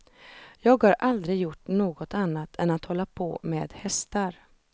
Jag har aldrig gjort något annat än att hålla på med hästar.